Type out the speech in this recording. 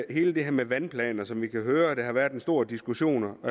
hele det her med vandplaner som vi kan høre der har været en stor diskussion om